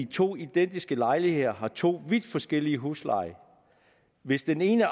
to identiske lejligheder har to vidt forskellige huslejer hvis den ene